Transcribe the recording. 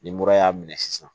Ni mura y'a minɛ sisan